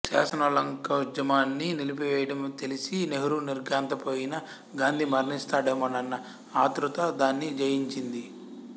శాసనోల్లంఘనోద్యమాన్ని నిలిపివేయడం తెలసి నెహ్రూ నిర్ఘాంతపోయినా గాంధీ మరణిస్తాడేమోనన్న ఆతృత దాన్ని జయించింది